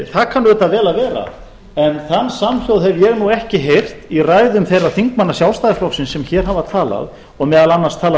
það kann auðvitað vel að vera en þann samsöng hef ég ekki heyrt í ræðum þeirra þingmanna sjálfstæðisflokksins sem hér hafa talað og meðal annars talað